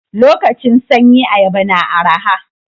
Lokacin sanyi ayaba na araha.